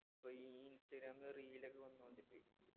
അപ്പൊ ഈ ഇൻസ്റ്റാഗ്രാമില് reel ഒക്കെ വന്നോണ്ടിപ്പെ